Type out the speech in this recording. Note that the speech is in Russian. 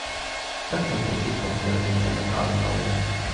как мне получить подтверждение заказа на ужин